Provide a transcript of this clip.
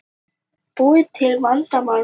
Búa til vandamál með lokun